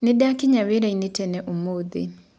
Nĩndakĩnya wĩraĩnĩ tene ũmũthĩ.